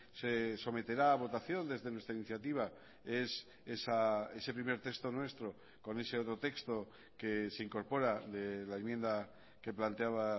se someterá a votación desde nuestra iniciativa es ese primer texto nuestro con ese otro texto que se incorpora de la enmienda que planteaba